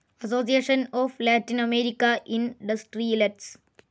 association of Latin American industrialists